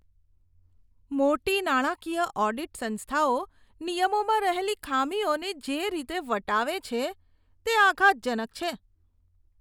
મોટી નાણાકીય ઓડિટ સંસ્થાઓ નિયમોમાં રહેલી ખામીઓને જે રીતે વટાવે છે, તે આઘાતજનક છે.